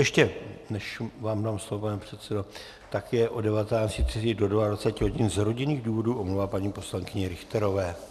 Ještě než vám dám slovo, pane předsedo, tak se od 19.30 do 22.00 hodin z rodinných důvodů omlouvá paní poslankyně Richterová.